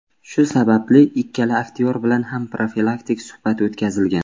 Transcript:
Shu sababli ikkala aktyor bilan ham profilaktik suhbat o‘tkazilgan.